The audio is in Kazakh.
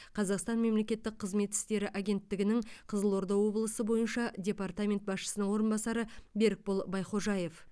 қазақстан мемлекеттік қызмет істері агенттігінің қызылорда облысы бойынша департаменті басшысының орынбасары берікбол байхожаев